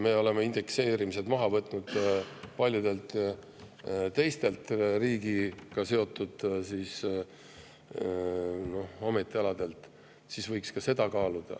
Me oleme indekseerimise maha võtnud ka paljude teiste riigiga seotud ametialade puhul.